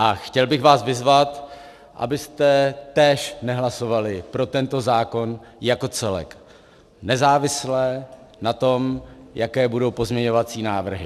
A chtěl bych vás vyzvat, abyste též nehlasovali pro tento zákon jako celek, nezávisle na tom, jaké budou pozměňovací návrhy.